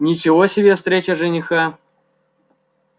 ничего себе встреча жениха